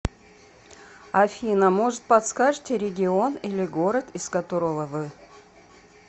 афина может подскажите регион или город из которого вы